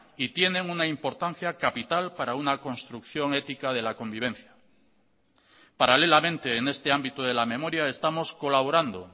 y tienen una importancia capital para una construcción ética de la convivencia paralelamente en este ámbito de la memoria estamos colaborando